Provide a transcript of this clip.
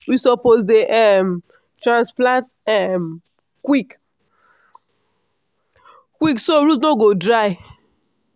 we suppose dey um transplant um quick quick so root no go dry.